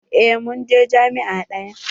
Eh mun je jami'a ɗaya.